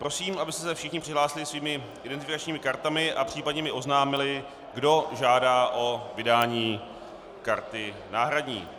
Prosím, abyste se všichni přihlásili svými identifikačními kartami a případně mi oznámili, kdo žádá o vydání karty náhradní.